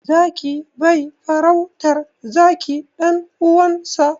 Zaki bai farautar zaki ɗan uwansa.